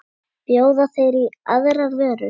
Bjóða þeir í aðrar vörur?